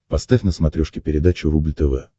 поставь на смотрешке передачу рубль тв